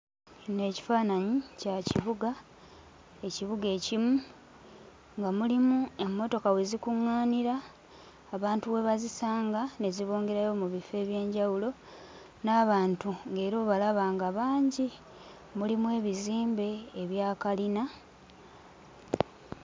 Kino ekifaananyi kya kibuga, ekibuga ekimu nga mulimu emmotoka we zikuŋŋaanira, abantu we bazisanga ne zibongerayo mu bifo eby'enjawulo. N'abantu ng'era obalaba nga bangi. Mulimu ebizimbe ebya kalina...